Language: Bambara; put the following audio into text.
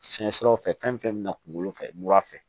Fiɲɛ siraw fɛ fɛn fɛn bɛna kunkolo fɛ mura fɛ